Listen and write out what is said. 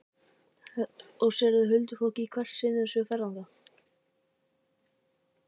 Og sérðu huldufólkið í hvert skipti sem þú ferð þarna?